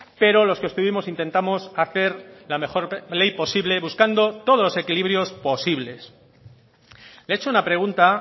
pero los que estuvimos intentamos hacer la mejor ley posible buscando todos los equilibrios posibles le he hecho una pregunta